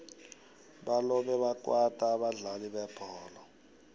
balobe bakwata abadlali bebholo